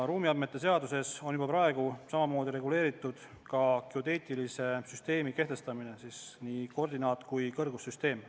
Ruumiandmete seaduses on samamoodi reguleeritud ka geodeetilise süsteemi kehtestamine, see hõlmab nii koordinaat- kui ka kõrgussüsteemi.